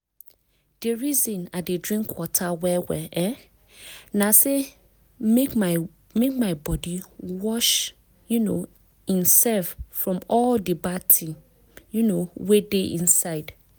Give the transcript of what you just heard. di reason i dey drink water well well um na say make my body wash um imsef from all di bad things um wey dey inside.